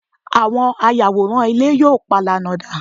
àwọn ayàwòrán ilé yíò palana da